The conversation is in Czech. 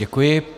Děkuji.